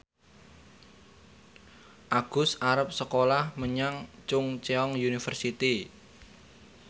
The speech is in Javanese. Agus arep sekolah menyang Chungceong University